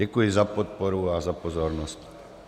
Děkuji za podporu a za pozornost.